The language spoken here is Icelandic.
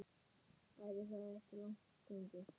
Væri það ekki langt gengið?